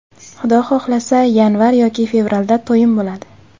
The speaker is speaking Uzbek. Xudo xohlasa, yanvar yoki fevralda to‘yim bo‘ladi.